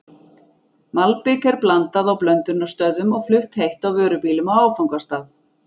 Malbik er blandað á blöndunarstöðvum og flutt heitt á vörubílum á áfangastað.